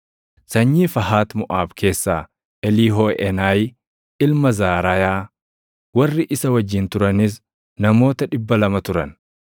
sanyii Fahat Moʼaab keessaa Eliihooʼeenayi ilma Zaraayaa; warri isa wajjin turanis namoota 200 turan;